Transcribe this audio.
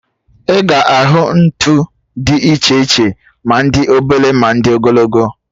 Ị ga ahụ ntụ dị iche iche, ma ndị obele, ma ndị ogologo